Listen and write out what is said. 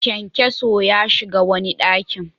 Kyankyaso ya shiga wani ɗaki.